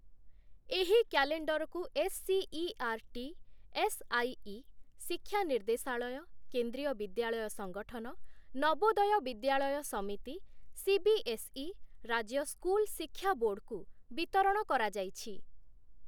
ଏହି କ୍ୟାଲେଣ୍ଡରକୁ SCERT SIE, ଶିକ୍ଷା ନିର୍ଦ୍ଦେଶାଳୟ, କେନ୍ଦ୍ରୀୟ ବିଦ୍ୟାଳୟ ସଂଗଠନ, ନବୋଦୟ ବିଦ୍ୟାଳୟ ସମିତି, ସିବିଏସ୍‌ଇ, ରାଜ୍ୟ ସ୍କୁଲ ଶିକ୍ଷା ବୋର୍ଡ଼୍‌କୁ ବିତରଣ କରାଯାଇଛି ।